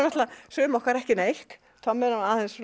sum okkar ekki neitt Tommi er